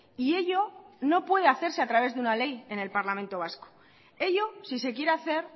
y ello no puede hacerse a través de una ley en el parlamento vasco ello si se quiere hacer